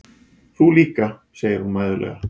Þú líka, segir hún mæðulega.